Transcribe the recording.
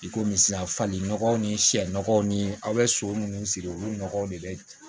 I komi sisan fali nɔgɔw ni sɛ nɔgɔw ni aw bɛ so minnu siri olu nɔgɔ de bɛ